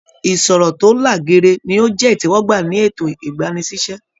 Ìṣọ̀rọ̀ to là géèrè ni o jẹ itẹwọgbà ní ètò igbani-sí-iṣẹ.